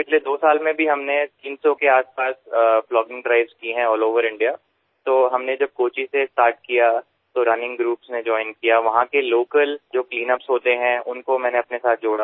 पिछले दो साल में भी हमने 300 के आसपास प्लॉगिंग ड्राइव्स की है अल्ल ओवर इंडिया तो जब हमने कोच्चि से स्टार्ट किया तो रनिंग ग्रुप्स ने जोइन किया वहाँ के लोकल जो क्लीनअप्स होते हैं उनको मैंने अपने साथ जोड़ा